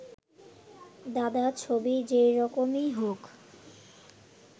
দাদা, ছবি যেরকমই হোক